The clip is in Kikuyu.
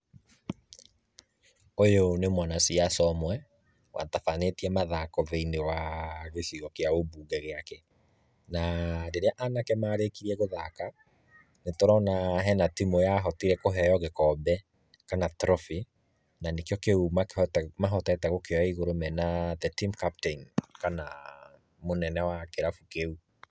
Ũyũ nĩ mwanasiasa ũmwe watabanĩtie mathako thĩiníiĩ wa gĩcigo kĩa ũmbunge gĩake. Na rĩrĩa anake marĩkirie gũthaka, nĩ tũrona hena timũ yarĩkirie kũheo gĩkombe kana trophy, na nĩkĩo kĩu mahotete gũkĩoa igũrũ mena the team captain kana mũnene wa kĩrabu kĩu.